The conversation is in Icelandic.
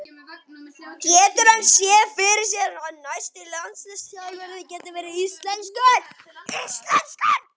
Getur hann séð fyrir sér að næsti landsliðsþjálfari verði íslenskur?